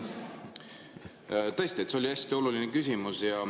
Tõesti, see oli hästi oluline küsimus.